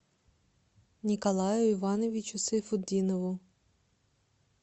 николаю ивановичу сайфутдинову